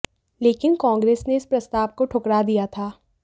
लेकिन कंग्रेस ने इस प्रस्ताव को ठुकरा दिया था